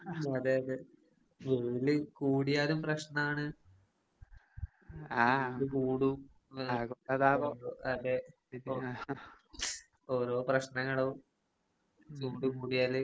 അതെ അതെ കൂടിയാലും പ്രശ്നാണ് ഓരോ പ്രശ്നങ്ങളും കൂടിയാല്